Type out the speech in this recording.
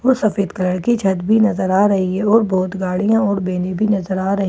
और सफेद कलर की छत बी नजर आ रही हैं और बहुत गाड़ियां और बेने बी नजर आ रही हैं --